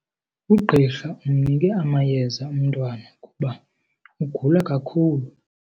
Ugqirha umnike amayeza umntwana kuba ugula kakhulu.